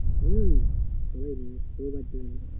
হম সবাই সবার জন্য